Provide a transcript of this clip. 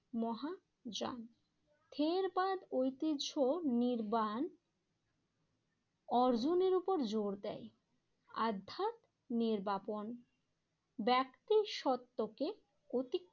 মহাযান থেরবাদ ঐতিহ্য নির্বাণ অর্জনের উপর জোর দেয়। আর্ধা নির্বাপন ব্যক্তি সত্যকে অতি